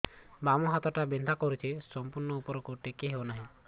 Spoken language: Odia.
ବାମ ହାତ ଟା ବିନ୍ଧା କରୁଛି ସମ୍ପୂର୍ଣ ଉପରକୁ ଟେକି ହୋଉନାହିଁ